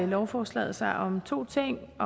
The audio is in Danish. lovforslaget sig om to ting